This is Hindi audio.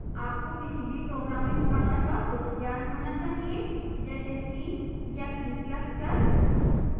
आपको किसी भी programming भाषा का कुछ ज्ञान होना चाहिए जैसे c या c ++